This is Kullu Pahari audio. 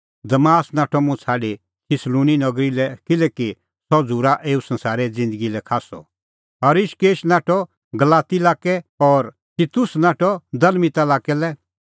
दमास नाठअ मुंह छ़ाडी थिस्सलुनी नगरी लै किल्हैकि सह झ़ूरा एऊ संसारै ज़िन्दगी लै खास्सअ क्रेंसकेंस नाठअ गलाती लाक्कै लै और तितुस नाठअ दलमतिआ लाक्कै लै